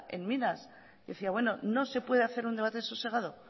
en minas que decía bueno no se puede hacer un debate sosegado